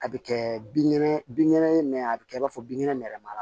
A bɛ kɛ binkɛnɛ binkɛnɛ ye mɛ a bɛ kɛ i b'a fɔ binkɛnɛma la